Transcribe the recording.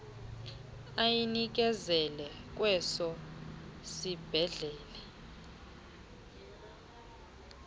ayinikezele kweso sibhedlele